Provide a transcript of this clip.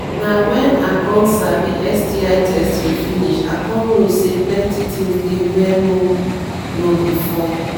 na when i come sabi sti testing finish i come know say plenty things dey where no know before